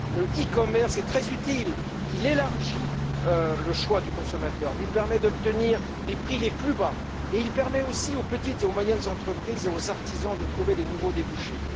Le e commerce est très utile il élargit le choix du consommateur, lui permet d'obtenir les prix les plus bas, et il permet aussi aux petites et moyennes entreprises et aux artisans de trouver de nouveaux débouchés.